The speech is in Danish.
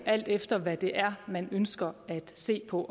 alt efter hvad det er man ønsker at se på